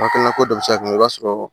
Hakilina ko dɔ bi se ka kɛ i b'a sɔrɔ